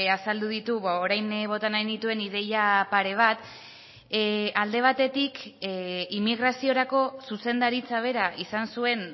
azaldu ditu orain bota nahi nituen ideia pare bat alde batetik immigraziorako zuzendaritza bera izan zuen